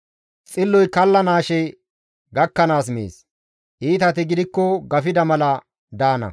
Xilloy kallanaashe gakkanaas mees; iitati gidikko gafida mala daana.